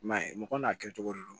I m'a ye mɔgɔ n'a kɛcogo de don